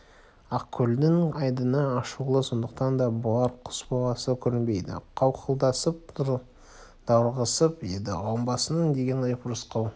ақкөлдің айдыны ашулы сондықтан да болар құс баласы көрінбейді қауқылдасып даурығысып еді ғалымбысың деген деп рысқұл